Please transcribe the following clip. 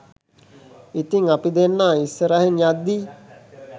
ඉතිං අපි දෙන්නා ඉස්සරහින් යද්දී